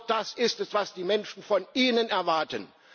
Denn genau das ist es, was die Menschen von Ihnen erwarten.